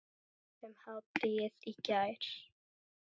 um hádegið í gær.